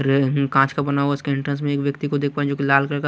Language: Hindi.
रे हं कांच का बना हुआ स्क्रीन टच में एक व्यक्ती को दे पा रहा हूं जो की लाल कलर का--